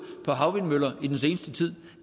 på havvindmøller i den seneste tid